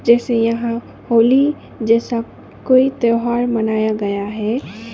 जैसे यहां होली जैसा कोई त्यौहार मनाया गया है।